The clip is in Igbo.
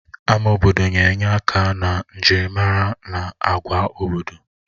Ama obodo na-enye aka na njirimara na agwa obodo.